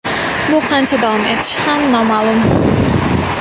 Bu qancha davom etishi ham noma’lum.